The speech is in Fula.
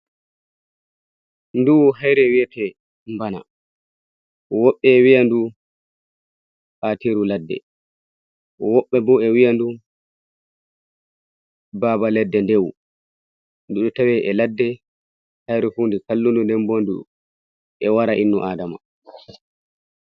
Ɗu hayre wiyate bana, woɓɓe wiyandu atiru ladde, woɓɓe bo e wiyandu baba ladde ndewu, du ɗo tawe e ladde haire hunde kallundu nden bon du e wara innu adama.